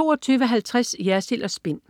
22.50 Jersild & Spin.